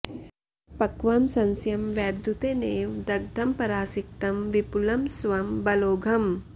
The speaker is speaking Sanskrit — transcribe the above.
पक्वं सस्यं वैद्युतेनेव दग्धं परासिक्तं विपुलं स्वं बलौघम्